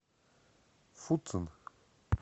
фуцин